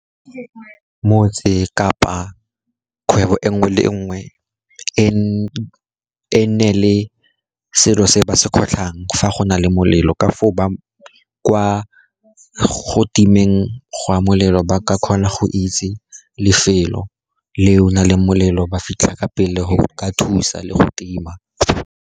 Motse kapa kgwebo e nngwe le nngwe e nne le selo se ba se kgotlhang fa go na le molelo, ka foo, ba kwa go timeng ga molelo ba ka kgona go itse lefelo le o na leng molelo ba fitlha ka pele go ka thusa le go tima.